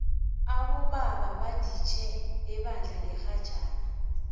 abobaba baditjhe ebandla ngerhajana